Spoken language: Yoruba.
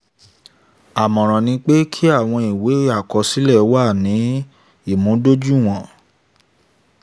àmọ̀ràn ni pé kí àwọn ìwé àkọsílẹ̀ ó wà ní ìmúdójúìwọ̀n.